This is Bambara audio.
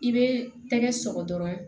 I bɛ tɛgɛ sɔgɔ dɔrɔn